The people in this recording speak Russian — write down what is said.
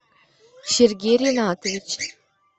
сергей ринатович